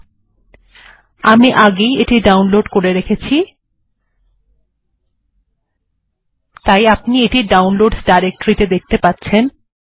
যেহেতু আমি পূর্বে ই এটি ডাউনলোড করে রেখেছি তাই আপনি এটিকে ডাউনলোডস ডাইরেকটরি তে দেখতে পাচ্ছেন